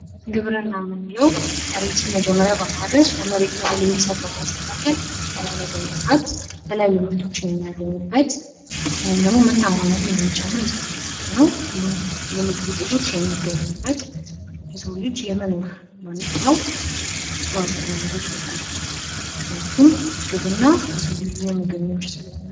ግብርና የምንለዉ መሬት መጀመሪያ በማረስ ለመሬቱ ላይ በማስተካከል እላዩ ላይ በመዝራት የተለያዩ ምርቶችን በማግኘት ወይም ደግሞ የምርታማነትን የሚጨምር የስራ መስክ ነዉ። ሁሉም የምግብ ዉጤቶች የሚገኙበት የሰዉ ልጅ የመኖር ህልዉናዉ አስተዋፅኦ የሚያደርግ ነገር ነዉ። ምክንያቱም ግብርና የሰዉ ልጅ የምግብ ምንጭ ስለሆነ።